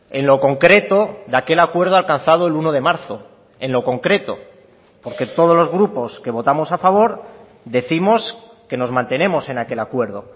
en lo concreto de aquel acuerdo alcanzado el uno de marzo en lo concreto porque todos los grupos que votamos a favor décimos que nos mantenemos en aquel acuerdo